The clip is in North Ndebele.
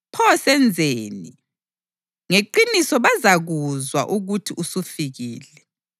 Pho senzeni? Ngeqiniso bazakuzwa ukuthi usufikile,